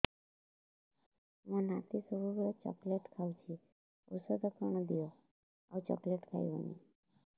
ମୋ ନାତି ସବୁବେଳେ ଚକଲେଟ ଖାଉଛି ଔଷଧ କଣ ଦିଅ ଆଉ ଚକଲେଟ ଖାଇବନି